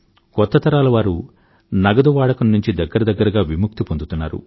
కొత్త తరాల వారు నగదు వాడకం నుండి దగ్గర దగ్గరగా విముక్తి పొందితున్నారు